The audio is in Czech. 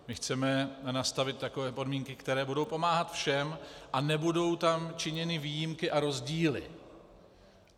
My chceme nastavit takové podmínky, které budou pomáhat všem a nebudou tam činěny výjimky a rozdíly.